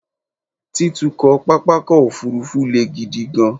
Títukọ̀ pápákọ̀ òfúrufú le gidi gan-an